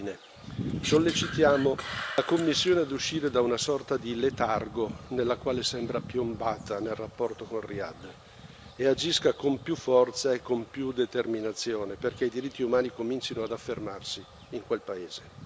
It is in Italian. Infine, sollecitiamo la Commissione ad uscire da una sorta di letargo, nella quale sembra piombata nel rapporto con Riyadh, e agisca con più forza e con più determinazione, perché i diritti umani comincino ad affermarsi in quel paese.